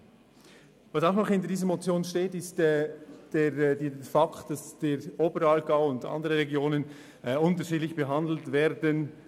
Ein weiterer Grund für diese Motion ist die Tatsache, dass der Oberaargau und andere Regionen beim Angebot unterschiedlich behandelt werden.